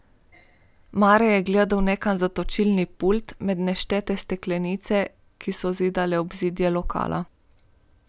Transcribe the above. Mare je gledal nekam za točilni pult, med neštete steklenice, ki so zidale ozadje lokala.